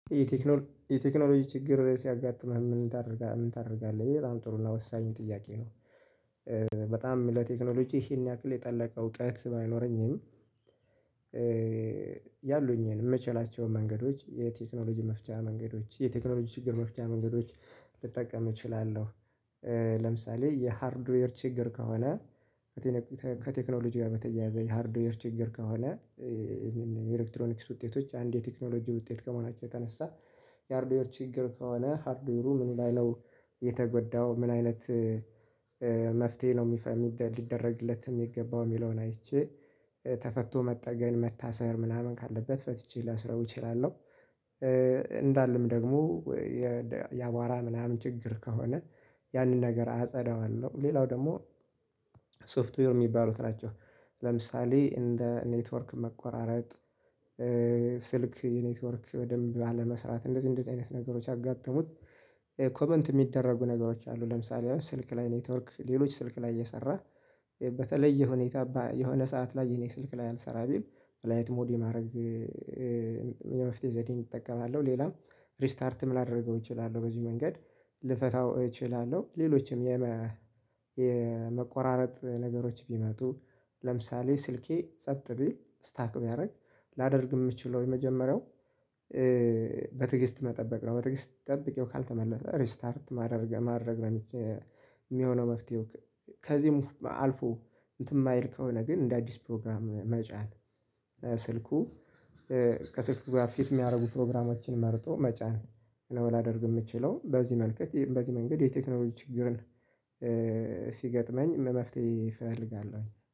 የቴክኖሎጂ ችግር ሲያጋጥምህ ምን ታደርጋለህ? ይሄ በጣም ጥሩና ወሳኝ ጥያቄ ነው። በጣም ለቴክኖሎጂ ይህን ያክል የጠለቀ እውቀት ባይኖረኝም። ያሉኝን የምችላቸውን መንገዶች የቴክኖሎጂ መፍቻ መንገዶች የቴክኖሎጂ ችግር መፍቻ መንገዶች ልጠቀም እችላለሁ። ለምሳሌ የሃርድዌር ችግር ከሆነ ከቴክኖሎጂ ጋር በተያያዘ የሃርድዌር ወር ችግር ከሆነ። የኤሌክትሮኒክስ ውጤቶች አንድ የቴክኖሎጂ ውጤት ከመሆናቸው የተነሳ የሃርድ ችግር ከሆነ ሃርድዌሩ ምን ላይ ነው? የተጎዳው ምን አይነት? መፍትሄ ነው የሚፈልግ ሊደረግለት የሚገባው የሚለውን አይቼ ተፈቶ መጠገን መታሰር ምናምን ካለበት ፈትቼ ላስረው እችላለሁ። እንዳለም ደግሞ። የአቧራ ምናምን ችግር ከሆነ ያንን ነገር አጸዳዋለሁ። ሌላው ደግሞ ሶፍትዌር የሚባሉት ናቸው። ለምሳሌ እንደ ኔትወርክ መቆራረጥ። ስልክ የኔትወርክ በደንብ አለመስራት እንደዚህ እንደዚህ አይነት ነገሮች ሲያጋጥሙኝ። ኮመንት የሚደረጉ ነገሮች አሉ ለምሳሌ አሁን ስልክ ላይ ኔትወርክ ሌሎች ስልክ ላይ እየሰራ። በተለየ ሁኔታ የሆነ ሰዓት ላይ የኔ ስልክ ላይ አልሰራም ቢል በላይት ሞዴ ማድረግ። የመፍትሄ ዘዴን እጠቀማለሁ። ሌላም ሪስታርትም ላደርገው እችላለሁ በዚህ መንገድ ልፈታው እችላለሁ። ሌሎችም የመቆራረጥ ነገሮች ቢመጡም። ለምሳሌ ስልኬ ጸጥ ቢል ስታክ ቢያደርግ ላደርግ የምችለው የመጀመሪያው በትግስት መጠበቅ ነው በትግስት ጠብቄው ካልተመለሰ ሪስታርት ማድረግ ማድረግ ነው። የሚሆነው መፍትሄው። ከዚህም አልፎ እንትን የማይል ከሆነ ግን እንደ አዲስ ፕሮግራም መጫን። ስልኩ ከስልኩ ጋር ፊት የሚያደርጉ ፕሮግራሞችን መርጦ መጫን። ለወላደርግ የምችለው በዚህ መልክት በዚህ መንገድ የቴክኖሎጂ ችግርን ሲገጥመኝ መፍትሄ እፈልጋለሁኝ